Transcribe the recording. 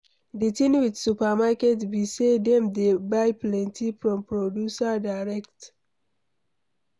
Di thing with supermarket be sey dem dey buy plenty from producer direct